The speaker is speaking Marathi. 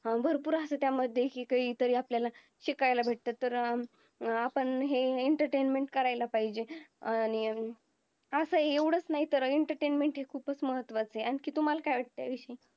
भरपूर असं त्या मध्ये शिकायता आपल्याला शिकायला भेटत तर अं अं आपण हे entertainment करायला पाहिजे अं आणि अं असं हे एवढंच आहि तर entertainment हे खुपच महत्वाचं आहे कि तुम्हाला काय वाटत